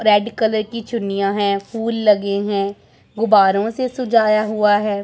Red colour की चुन्नियां हैं फूल लगे हैं गुब्बारों से सजाया हुआ है।